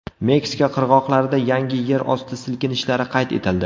Meksika qirg‘oqlarida yangi yerosti silkinishlari qayd etildi.